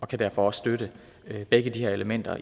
kan derfor også støtte begge de her elementer